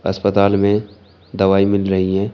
अस्पताल में दवाई मिल रही है।